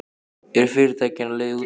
Eru fyrirtækin á leið í útrás?